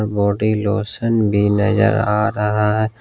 Body lotion भी नजर आ रहा है।